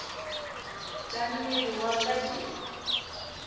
tša mmele wa ka di